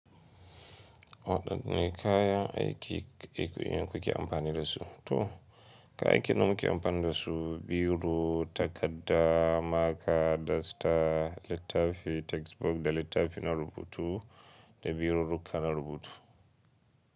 Waɗanne kayan aiki kuke amfani dasu? To kayan aikin da muke amfani da su, biro, takadda, maka, dasta, littafi textbook da littafi na rubutu da birurrukka na rubutu.